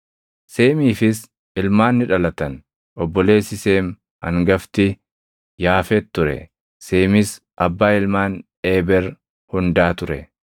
Seemiifis ilmaan ni dhalatan; obboleessi Seem hangafti Yaafet ture; Seemis abbaa ilmaan Eeber hundaa ture.